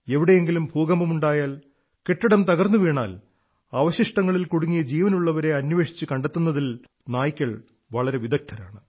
എവിടെങ്കിലും ഭൂകമ്പമുണ്ടായാൽ കെട്ടിടം തകർന്നുവീണാൽ അവശിഷ്ടങ്ങളിൽ കുടുങ്ങിയ ജീവനുള്ളവരെ അന്വേഷിച്ചു കണ്ടെത്തുന്നതിൽ നായ്ക്കൾ വളരെ വിദഗ്ധരാണ്